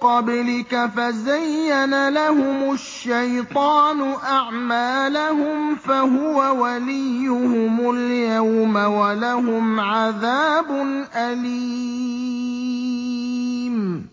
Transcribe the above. قَبْلِكَ فَزَيَّنَ لَهُمُ الشَّيْطَانُ أَعْمَالَهُمْ فَهُوَ وَلِيُّهُمُ الْيَوْمَ وَلَهُمْ عَذَابٌ أَلِيمٌ